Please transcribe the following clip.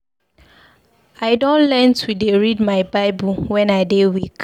I don learn to dey read my Bible wen I dey weak.